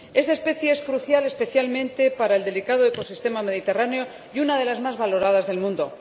Esa especie es crucial, especialmente para el delicado ecosistema mediterráneo, y una de las más valoradas del mundo.